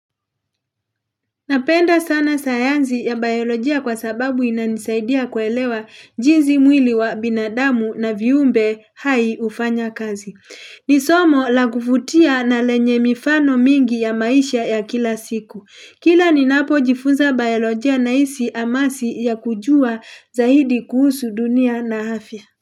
Napenda sana sayanzi ya biolojia kwa sababu inanisaidia kuelewa jinzi mwili wa binadamu na viumbe hai hufanya kazi. Ni somo la kuvutia na lenye mifano mingi ya maisha ya kila siku. Kila ninapojifunza biolojia naisi amasi ya kujua zaidi kuhusu dunia na hafya.